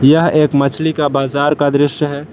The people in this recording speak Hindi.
यह एक मछली का बाजार का दृश्य है।